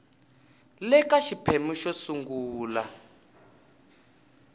le ka xiphemu xo sungula